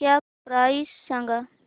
cap price सांगा